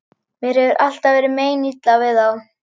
Mér hefur alltaf verið meinilla við þá.